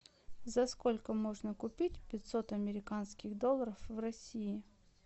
за сколько можно купить пятьсот американских долларов в россии